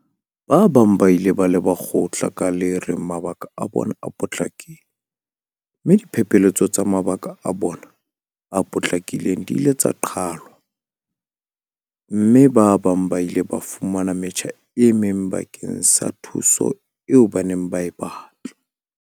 Ba bang ba ile ba leba kgotla ka le reng mabaka a bona a potlakile mme diphephetso tsa mabaka a bona a potlakileng di ile tsa qhalwa mme ba bang ba ile ba fumana metjha e meng bakeng sa thuso eo ba neng ba e batla.